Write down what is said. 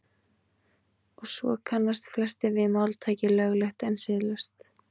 Og svo kannast flestir við máltækið löglegt en siðlaust.